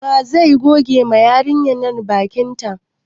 Wa zai goge wa yarinyar nan bakin ta?